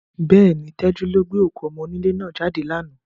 Bẹ́ẹ̀ni, Tájù ló gbé òkú ọmọ́ńlé náà jáde lánàá.